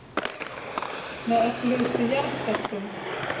Með öflugustu jarðskjálftum